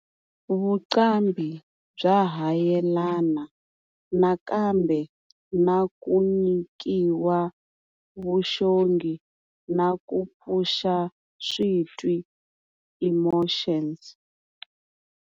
Vuqambhi bya ha yelana nakambe na kunyikiwa, Vuxongi na ku pfuxa switwiemotions.